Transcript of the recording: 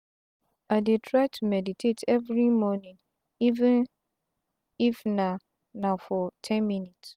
i dey try to meditate everi mornin even if na na for ten minutes.